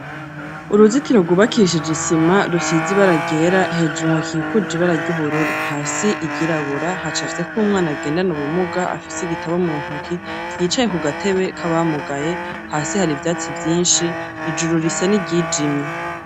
Uruzitiro rwubakishije isima rusize ibara ryera hejuru hakikuje ibara ry'ubururu, hasi iryirabura, hacafyeko umwana agendana ubumuga afise igitabo mu ntoki yicaye ku gatebe k'abamugaye, hasi hari ivyatsi vyinshi, ijuru risa n'iryijimye.